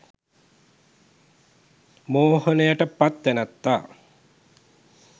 මෝහනයට පත් තැනැත්තා